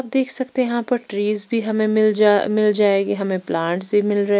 देख सकते हैं यहां पर ट्रीज भी हमें मिल जा मिल जाएगी हमें प्लांट्स भी मिल रहे--